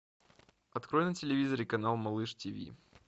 открой на телевизоре канал малыш ти ви